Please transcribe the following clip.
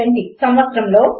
1970 సంవత్సరములో